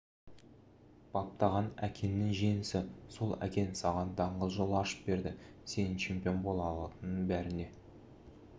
баптаған әкеңнің жеңісі сол әкең саған даңғыл жол ашып берді сенің чемпион бола алатыныңды бәріне